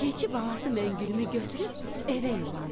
Keçi balası Məngülümü götürüb evə yolandı.